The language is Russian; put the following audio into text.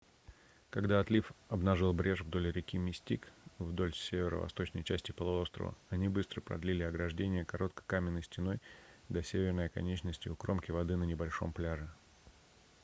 когда отлив обнажил брешь вдоль реки мистик вдоль северо-восточной части полуострова они быстро продлили ограждение короткой каменной стеной до северной оконечности у кромки воды на небольшом пляже